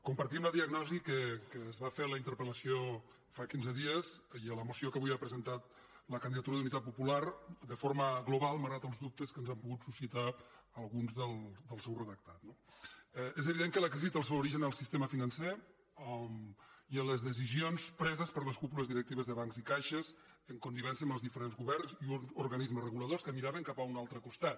compartim la diagnosi que es va fer a la interpel·lació fa quinze dies i a la moció que avui ha presentat la candidatura d’unitat popular de forma global malgrat els dubtes que ens han pogut suscitar alguns del seu redactat no és evident que la crisi té el seu origen al sistema financer i en les decisions preses per les cúpules directives de bancs i caixes en connivència amb els diferents governs i organismes reguladors que miraven cap a un altre costat